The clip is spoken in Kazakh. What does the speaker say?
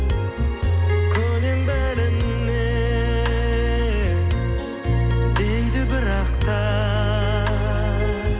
көнем бәріне дейді бірақ та